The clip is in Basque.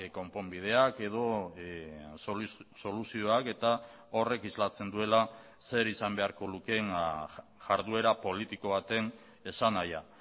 konponbideak edo soluzioak eta horrek islatzen duela zer izan beharko lukeen jarduera politiko baten esanahia